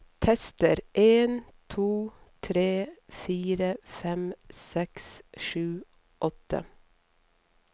Tester en to tre fire fem seks sju åtte